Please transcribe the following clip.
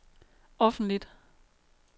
offentligt